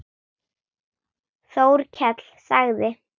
Þórkell sagði